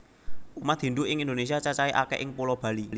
Umat Hindu ing Indonesia cacahe akeh ing pulo Bali